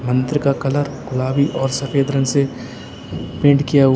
मंदिर का कलर गुलाबी और सफेद रंग से पेंट किया हुआ--